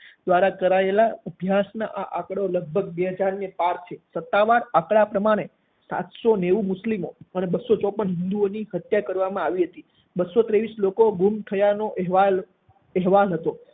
દ્વારા કરાયેલા અભ્યાસમાં આ આંકડો લગભગ બે હાજર ને પાર છે. સત્તાવાર આંકડા પ્રમાણે સાત સો નેવું મુસ્લિમો અને બસો ચોપન હિંદુઓ ની હત્યા કરવામાં આવી હતી, બસો ત્રેવીસ લોકોના ગુમ થયાનો અહેવાલ અહેવાલ હતો